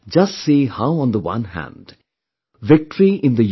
Just see how on the one hand, victory in the U